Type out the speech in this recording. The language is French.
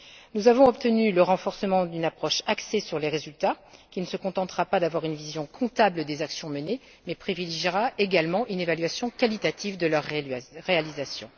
Nous avons obtenu le renforcement d'une approche axée sur les résultats, qui ne se contentera pas d'avoir une vision comptable des actions menées, mais qui privilégiera également une évaluation qualitative de leurs réalisations.